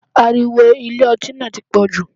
Ariwo Ilé ọtí náà ti pọ̀jù.